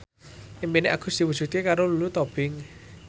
impine Agus diwujudke karo Lulu Tobing